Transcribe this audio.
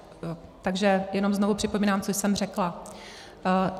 Takže jenom znovu připomínám, co jsem řekla.